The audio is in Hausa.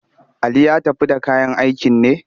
Ali ya tafi da kayan aikin ne?